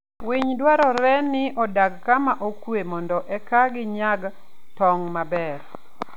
winy dwarore ni odag kama okuwe mondo eka ginyag tong' maber.